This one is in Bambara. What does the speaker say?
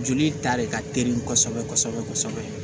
Joli ta de ka teli kosɛbɛ kosɛbɛ